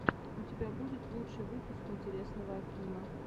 у тебя будет лучший выпуск интересного акима